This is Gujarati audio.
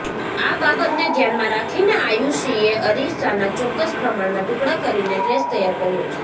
આ બાબતને ધ્યાનમાં રાખીને આયુષીએ અરીસાના ચોક્કસ પ્રમાણમાં ટુકડા કરીને ડ્રેસ તૈયાર કર્યો છે